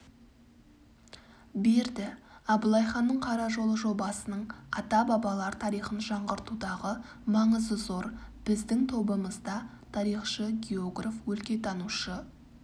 берді абылайханның қара жолы жобасының ата-бабалар тарихын жаңғыртудағы маңызы зор біздің тобымызда тарихшы географ өлкетанушы